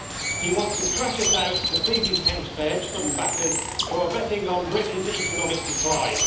He wants to crash us out to please his hedge fund backers who are betting on Britain's economic decline.